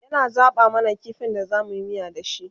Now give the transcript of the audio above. yana zaɓa mana kifin da zamuyi miya da shi